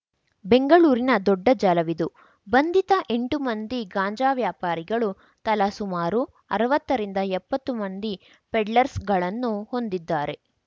ಬೆಂಗಳೂರಿನ ದೊಡ್ಡ ಜಾಲವಿದು ಬಂಧಿತ ಎಂಟು ಮಂದಿ ಗಾಂಜಾ ವ್ಯಾಪಾರಿಗಳು ತಲಾ ಸುಮಾರು ಅರ್ವತ್ತರಿಂದ ಎಪ್ಪತ್ತು ಮಂದಿ ಪೆಡ್ಲರ್‍ಸ್ಗಳನ್ನು ಹೊಂದಿದ್ದಾರೆ